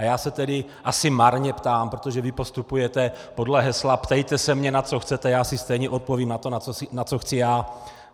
A já se tedy asi marně ptám, protože vy postupujete podle hesla ptejte se mě, na co chcete, já si stejně odpovím na to, na co chci já.